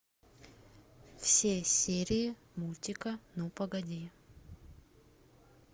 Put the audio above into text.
все серии мультика ну погоди